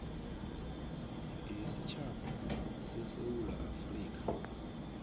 yesitjhaba sesewula afrika